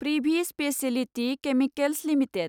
Privi speciality chemicals limited